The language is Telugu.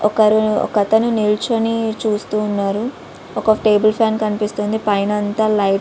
ఒకరు ఒకతను నిల్చోని చూస్తూ ఉన్నాడు. ఒక టేబుల్ ఫ్యాన్ కనిపిస్తుంది. పైన అంతా లైట్ --